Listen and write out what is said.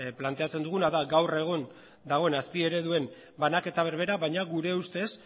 planteatzen duguna da gaur egun dagoen azpiereduen banaketa berbera baina gure ustez